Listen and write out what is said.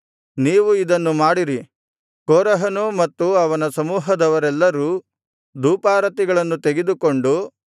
ನೀವು ಇದನ್ನು ಮಾಡಿರಿ ಕೋರಹನೂ ಮತ್ತು ಅವನ ಸಮೂಹದವರೆಲ್ಲರೂ ಧೂಪಾರತಿಗಳನ್ನು ತೆಗೆದುಕೊಂಡು